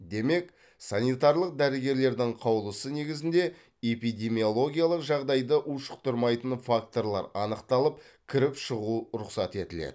демек санитарлық дәрігерлердің қаулысы негізінде эпидемиологиялық жағдайды ушықтармайтын факторлар анықталап кіріп шығу рұқсат етіледі